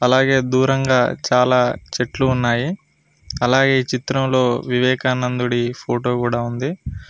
అలాగే దూరంగా చాలా చెట్లు ఉన్నాయి అలాగే చిత్రంలో వివేకానందుడి ఫోటో కూడా ఉంది.